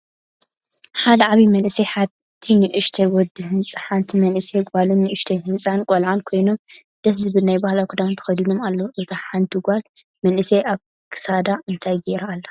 ሓደ ዓብይ መንእሰይን ሓደ ንእሽተይ ወዲህፃን ሓንቲ መንእሰይ ጎልን ንእሽተይ ህፃን ቆልዓን ኮይኖም ደስ ዝብል ናይ ባህላዊ ክዳን ተከዲኖም ኣለው። እታ ሓንቲ ጎል መንእሰይ ኣብ ክሳዳ እንታይ ገይራ ኣላ?